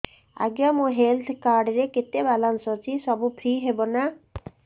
ଆଜ୍ଞା ମୋ health card ରେ କେତେ ବାଲାନ୍ସ ଅଛି ସବୁ ଫ୍ରି ହବ ନାଁ